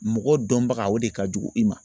Mɔgɔ dɔnbaga o de ka jugu i ma